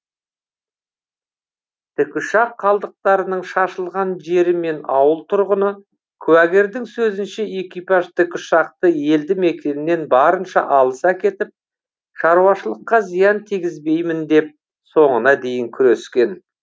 тікұшақ қалдықтарының шашылған жері мен ауыл тұрғыны куәгердің сөзінше экипаж тікұшақты елді мекеннен барынша алыс әкетіп шаруашылыққа зиян тигізбеймін деп соңына дейін күрескен